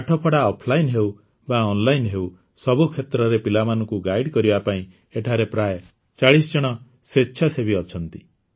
ପାଠପଢ଼ା ଅଫଲାଇନ୍ ହେଉ ବା ଅନଲାଇନ୍ ହେଉ ସବୁକ୍ଷେତ୍ରରେ ପିଲାମାନଙ୍କୁ ଗାଇଡ୍ କରିବା ପାଇଁ ଏଠାରେ ପ୍ରାୟ ଚାଳିଶଜଣ ସ୍ୱେଚ୍ଛାସେବୀ ଅଛନ୍ତି